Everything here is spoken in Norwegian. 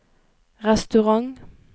restaurant